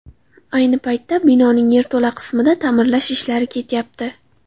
Ayni paytda binoning yerto‘la qismida ta’mirlash ishlari ketyapti.